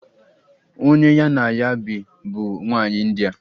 Onye ya na ya bi bụ nwanyị India.